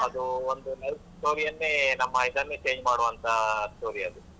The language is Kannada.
ಅದು ಒಂದು love story ಯನ್ನೇ ನಮ್ಮ ಇದನ್ನೇ change ಮಾಡುವಂತ story ಅದು.